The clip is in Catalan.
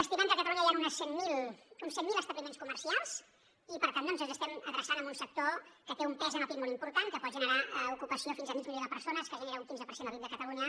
estimem que a catalunya hi han uns cent mil establiments comercials i per tant doncs ens estem adreçant a un sector que té un pes en el pib molt important que pot generar ocupació fins a mig milió de persones que genera un quinze per cent del pib de catalunya